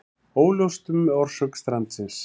Óljóst um orsök strandsins